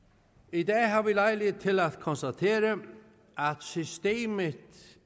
i dag har vi lejlighed til at konstatere at systemet